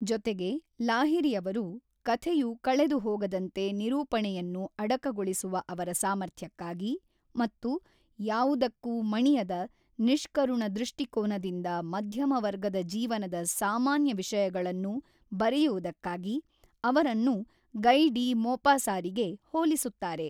ಜೊತೆಗೆ, ಲಾಹಿರಿಯವರು, ಕಥೆಯು ಕಳೆದುಹೋಗದಂತೆ ನಿರೂಪಣೆಯನ್ನು ಅಡಕಗೊಳಿಸುವ ಅವರ ಸಾಮರ್ಥ್ಯಕ್ಕಾಗಿ ಮತ್ತು ಯಾವುದಕ್ಕೂ ಮಣಿಯದ ನಿಷ್ಕರುಣ ದೃಷ್ಟಿಕೋನದಿಂದ ಮಧ್ಯಮ ವರ್ಗದ ಜೀವನದ ಸಾಮಾನ್ಯ ವಿಷಯಗಳನ್ನು ಬರೆಯುವುದಕ್ಕಾಗಿ ಅವರನ್ನು ಗಯ್‌ ಡಿ ಮೊಪಾಸಾರಿಗೆ ಹೋಲಿಸುತ್ತಾರೆ.